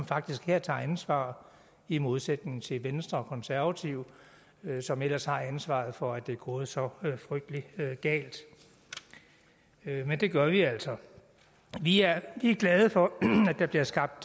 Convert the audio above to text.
faktisk her tager ansvar i modsætning til venstre og konservative som ellers har ansvaret for at det er gået så frygtelig galt men det gør vi altså vi er glade for at der bliver skabt